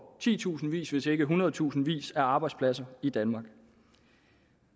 titusindvis hvis ikke i hundredtusindvis af arbejdspladser i danmark